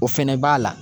O fɛnɛ b'a la